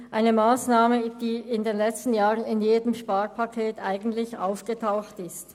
Es handelt sich um eine Massnahme, die in den letzten Jahren in jedem Sparpaket aufgetaucht ist.